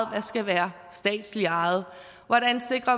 der skal være statsligt ejet hvordan